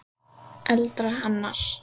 eldra hennar.